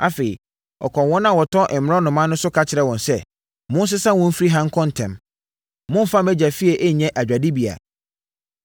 Afei, ɔkɔɔ wɔn a wɔtɔn mmorɔnoma no so ka kyerɛɛ wɔn sɛ, “Monsesa wɔn mfiri ha nkɔ ntɛm! Mommfa mʼAgya fie nyɛ adwadibea!”